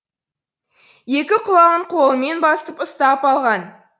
екі құлағын қолымен басып ұстап алған